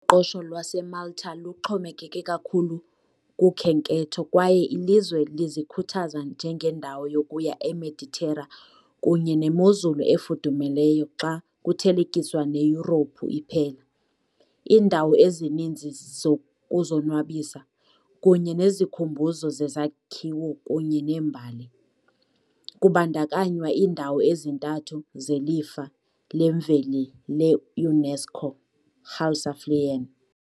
qoqosho lwaseMalta luxhomekeke kakhulu kukhenketho, kwaye ilizwe lizikhuthaza njengendawo yokuya eMeditera kunye nemozulu efudumeleyo xa kuthelekiswa neYurophu iphela, iindawo ezininzi zokuzonwabisa, kunye nezikhumbuzo zezakhiwo kunye nembali, kubandakanywa iindawo ezintathu zeLifa leMveli le-UNESCO Hal Saflieni.